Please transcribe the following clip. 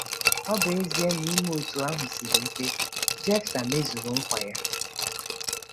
Ọ bụ ezie na ime otú ahụ siri ike, Jefta mezuru nkwa ya